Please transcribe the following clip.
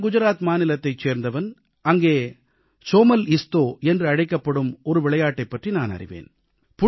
நான் குஜராத் மாநிலத்தைச் சேர்ந்தவன் அங்கே சோமல்இஸ்தோ என்று அழைக்கப்படும் ஒரு விளையாட்டைப் பற்றி நான் அறிவேன்